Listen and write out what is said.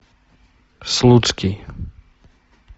слуцкий